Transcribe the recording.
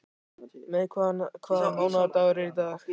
Mey, hvaða mánaðardagur er í dag?